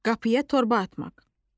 Qapıya torba atmaq.